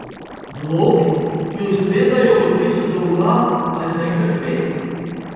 Vlog, ki ustrezajo odpisu dolga pa je zaenkrat pet.